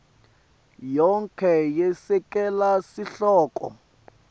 yonkhe yesekela sihloko